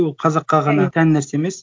ол қазаққа ғана тән нәрсе емес